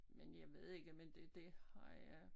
Men jeg ved ikke men det det har jeg